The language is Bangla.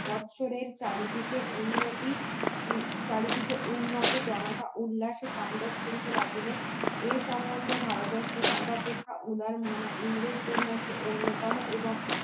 বছরের চারিদিকে উন্নতি চারিদিকে উন্নত জনতা উল্লাস তান্ডব করিতে লাগিল এর সম্বন্ধে ভারত বর্ষ সর্বাপেক্ষা উদারমনা ইংরেজদের মধ্যে অন্যতম এবং